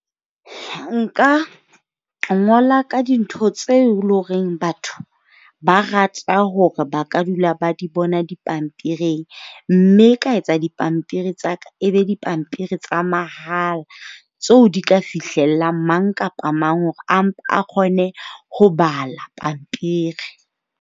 Nka ngola ka dintho tse e leng hore batho ba rata hore ba ka dula ba di bona dipampiring, mme ka etsa dipampiri tsa ka ebe dipampiri tsa mahala tseo di ka fihlellang mang kapa mang hore a kgone ho bala pampiri.